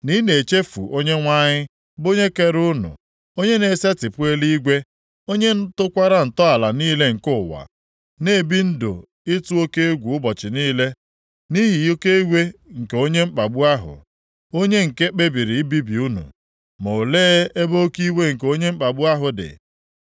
na ị na-echefu Onyenwe anyị bụ onye kere unu, onye na-esetipụ eluigwe, onye tọkwara ntọala niile nke ụwa; na-ebi ndụ ịtụ oke egwu ụbọchị niile nʼihi oke iwe nke onye mkpagbu ahụ, onye nke kpebiri ibibi unu? Ma olee ebe oke iwe nke onye mkpagbu ahụ dị?